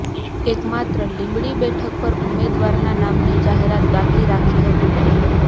એકમાત્ર લીંબડી બેઠક પર ઉમેદવારના નામની જાહેરાત બાકી રાખી હતી